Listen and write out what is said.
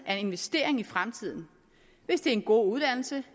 er investering i fremtiden hvis det er en god uddannelse